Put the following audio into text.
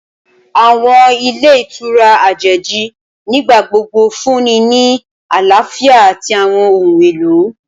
Awọn ilé ìtura ajeji nigbagbogbo nfunni ni alafia ati awọn ohun elo